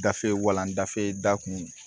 Gafe walan dafe da kun